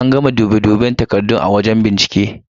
An gama dube duben takardun a wajen bincike takardun.